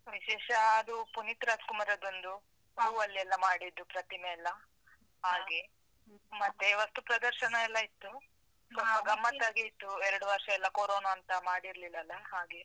ವಿಶೇಷ ಅದು ಪುನೀತ್ ರಾಜ್ ಕುಮಾರದೊಂದು. ಹೂವಲೆಲ್ಲ ಮಾಡಿದ್ದು ಪ್ರತಿಮೆ ಎಲ್ಲಾ, ಹಾಗೆ. ಮತ್ತೆ ವಸ್ತು ಪ್ರದರ್ಶನ ಎಲ್ಲ ಇತ್ತು. ಸ್ವಲ್ಪ ಗಮ್ಮತ್ತಾಗೆ ಇತ್ತು ಎರಡು ವರ್ಷಾಯೆಲ್ಲ ಕೋರೋನ ಅಂತ ಮಾಡಿರ್ಲಿಲ್ಲ ಅಲ್ಲ ಹಾಗೆ.